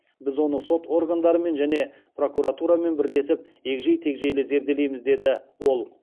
біз оны сот органдарымен және прокуратурамен бірлесіп егжей тегжейлі зерделейміз деді ол